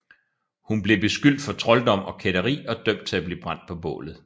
Hun blev beskyldt for trolddom og kætteri og dømt til at blive brændt på bålet